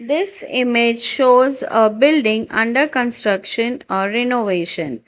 This image shows a building under construction or renovation.